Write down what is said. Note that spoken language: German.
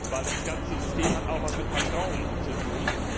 Denn das ganze System hat auch etwas mit Vertrauen zu tun.